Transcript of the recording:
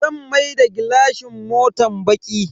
Zan maida gilashin motan baki.